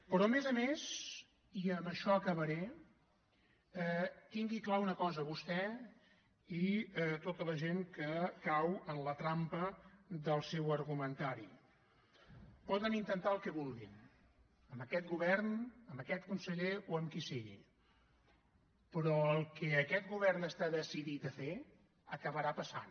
però a més a més i amb això acabaré tingui clara una cosa vostè i tota la gent que cau en la trampa del seu argumentari poden intentar el que vulguin amb aquest govern amb aquest conseller o amb qui sigui però el que aquest govern està decidit a fer acabarà passant